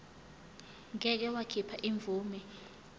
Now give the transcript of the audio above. ngeke wakhipha imvume